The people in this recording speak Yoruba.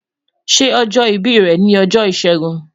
Ṣe ojo ibi rẹ ni ọjọ Ishegun?